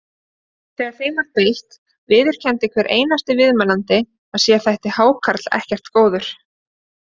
Þegar þeim var beitt viðurkenndi hver einasti viðmælandi að sér þætti hákarl ekkert góður.